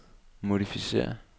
modificér